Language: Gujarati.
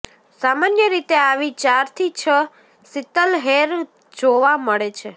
સામાન્ય રીતે આવી ચારથી છ શીતલહેર જ જોવા મળે છે